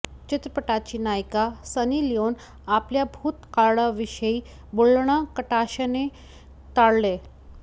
चित्रपटाची नायिका Sunny Leone आपल्या भूतकाळाविषयी बोलणं कटाक्षाने टाळते